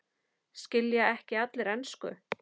Skilja ekki allir ensku?